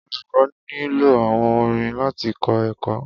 Olukọ ni lo awọn orin lati kọ ẹkọ